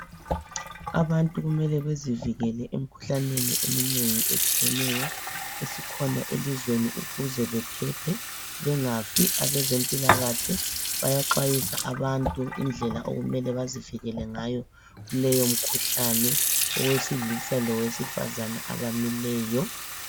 Abantu kumele bezivikele emkhuhlaneni eminengi etshiyeneyo esikhona elizweni ukuze bephephe bengafi. Abezempilakahle bayaxwayisa abantu indlela okumele bazivikele ngayo kuleyo mkhuhlane owesilisa lowesifazana abamileyo.